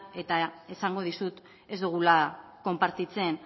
eta esango dizut ez dugula konpartitzen